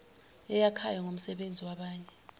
eyakhayo ngomsebenzi wabanye